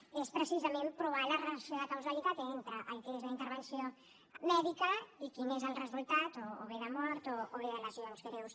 és precisament provar la relació de causalitat entre el que és la intervenció mèdica i quin és el resultat o bé de mort o bé de lesions greus